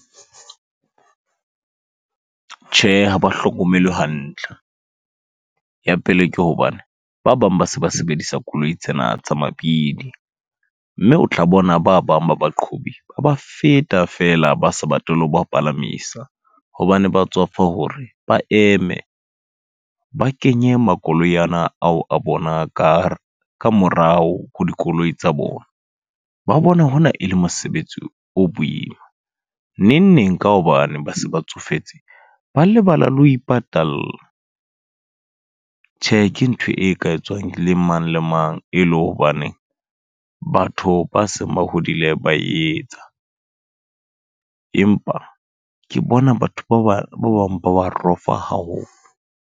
Tjhe, ha ba hlokomelwe hantle. Ya pele ke hobane, ba bang ba se ba sebedisa koloi tsena tsa mabidi. Mme o tla bona ba bang ba baqhobi, ba ba feta feela ba sa batle le ho ba palamisa. Hobane ba tswafa hore, ba eme ba kenye makoloi ana ao a bona ka ka morao ho dikoloi tsa bona. Ba bona honna e le mosebetsi o boima. Neng neng ka hobane ba se ba tsofetse, ba lebala le ho ipatalla. Tjhe ke ntho e ka etswang le mang le mang e le hobane, batho ba seng ba hodile ba e etsa. Empa ke bona batho ba bang ba ba rofa haholo.